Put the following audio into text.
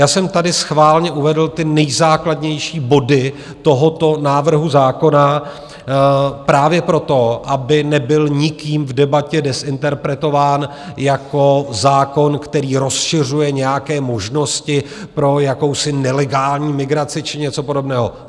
Já jsem tady schválně uvedl ty nejzákladnější body tohoto návrhu zákona právě proto, aby nebyl nikým v debatě dezinterpretován jako zákon, který rozšiřuje nějaké možnosti pro jakousi nelegální migraci či něco podobného.